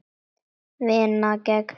Vinnan gengur mjög vel.